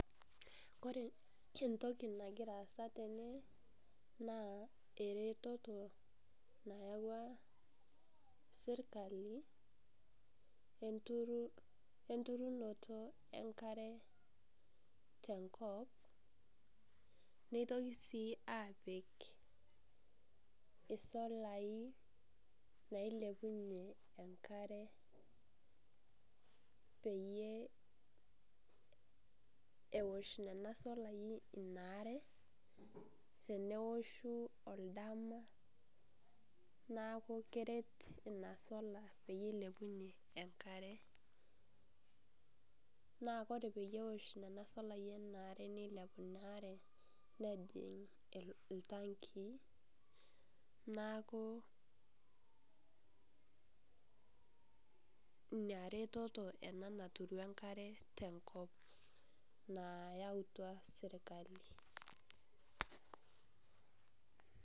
Ore entoki nagira aasa tene, naa eretoto nayauwa serkali, enturunoto enkare, tenkop neitoki sii aapik isolai nailepunye enkare, peyie ewoshh nena solai ina are, teneoshu odama neaku keret ina sola peyie eilepunye enkare. Naa ore peyie eosh nena solai inaa are neilepunye inaare nejing' iltankii neaku inaretoto ina naturu enkare tenkop nayautua serkali.